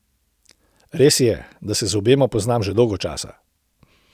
Res je, da se z obema poznam že dolgo časa.